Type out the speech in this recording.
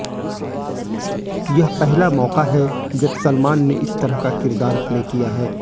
यह पहला मौका है जब सलमान ने इस तरह का किरदार प्ले किया है